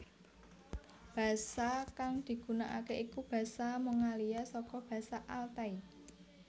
Basa kang digunakake iku basa Mongolia saka basa Altai